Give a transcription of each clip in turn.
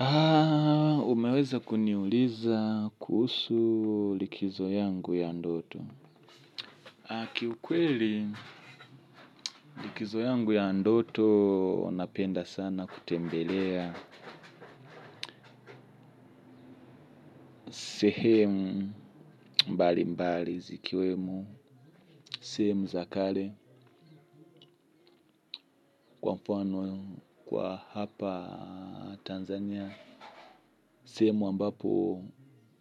Aaaa, umeweza kuniuliza kuhusu likizo yangu ya ndoto. Akiukweli likizo yangu ya ndoto napenda sana kutembelea. Sehemu mbali mbali zikiwemo, sehemu za kale kwa mpono kwa hapa Tanzania. Sehemu ambapo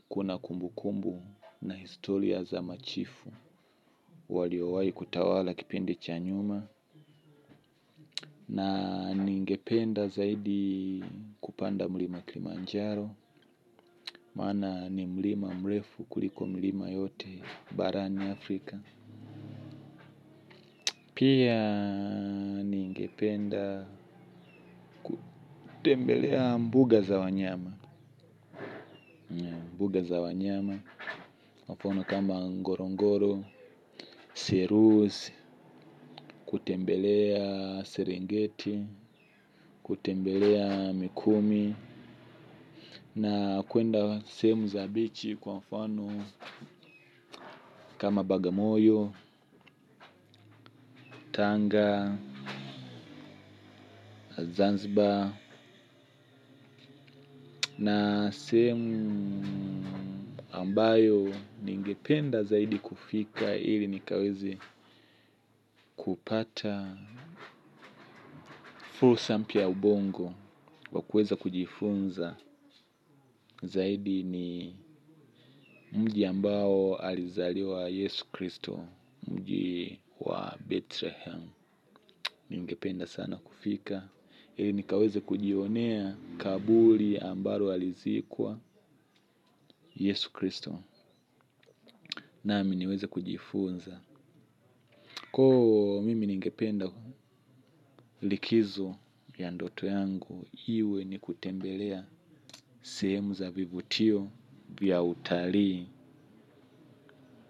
kuna kumbu kumbu na historia za machifu. Walio wai kutawala kipendi cha nyuma na ningependa zaidi kupanda mlima kilimanjaro. Mana ni mlima mrefu kuliko milima yote barani Afrika. Pia ningependa kutembelea mbuga za wanyama. Mbuga za wanyama, mapono kama ngorongoro, siruzi, kutembelea seringeti, kutembelea mikumi na kuenda sehemu za bichi kwa mfano kama Bagamoyo, Tanga, Zanzibar Na semu ambayo ningependa zaidi kufika ili nikawezi kupata full sample ya ubongo kwa kuweza kujifunza zaidi ni mji ambao alizaliwa Yesu Kristo mji wa Bethlehem. Ningependa sana kufika, nikaweze kujionea kabuli ambalo alizikwa Yesu Kristo, nami niweze kujifunza. Koo, mimi ningependa likizo ya ndoto yangu, iwe ni kutembelea sehemu za vivutio pia utali.